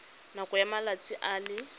nakong ya malatsi a le